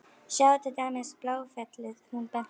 Sjáðu til dæmis Bláfellið hún benti.